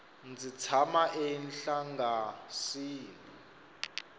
ndzi tshama enhlangasini